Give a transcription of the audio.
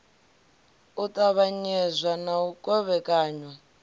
u ṱavhanyezwa na u kovhekanywa